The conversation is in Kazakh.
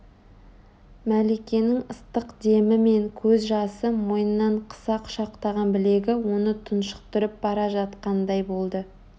мәликенің ыстық демі мен көз жасы мойнынан қыса құшақтаған білегі оны тұншықтырып бара жатқандай болды